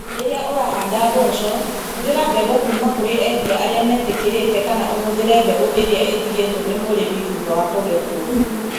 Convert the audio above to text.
Rĩrĩa ũrahanda mboco, hũthĩra mbegũ kuuma kũrĩ endia arĩa metĩkĩrĩkĩte kana ũhũthĩre mbegũ iria iratigwo nĩ mũrĩmi thutha wa kũgethwo.